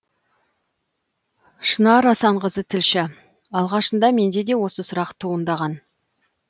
шынар асанқызы тілші алғашында менде де осы сұрақ туындаған